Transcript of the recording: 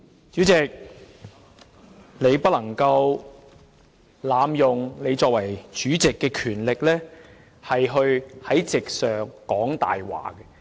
主席，你不能濫用你以主席身份可以行使的權力，在席上說謊。